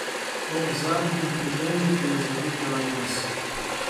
Ob zadnjem pridevniku je zavihala nos.